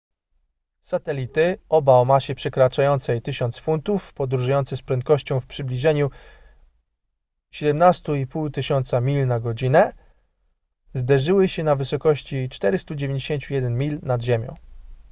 satelity oba o masie przekraczającej 1000 funtów podróżujące z prędkością w przybliżeniu 17 500 mil na godzinę zderzyły się na wysokości 491 mil nad ziemią